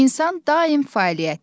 İnsan daim fəaliyyətdədir.